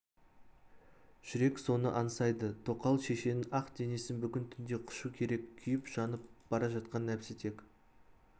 жүрек соны аңсайды тоқал шешенің ақ денесін бүгін түнде құшу керек күйіп-жанып бара жатқан нәпсі тек